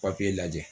Papiye lajɛ